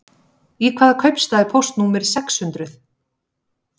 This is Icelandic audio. Í hvaða kaupstað er póstnúmerið sex hundruð?